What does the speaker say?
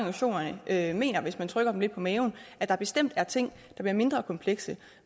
af mener hvis man trykker dem lidt på maven at der bestemt er ting der bliver mindre komplekse